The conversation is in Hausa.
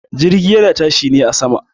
Jirgi yana tashi ne a sama.